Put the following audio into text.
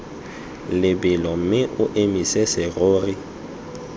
lebelo mme o emise serori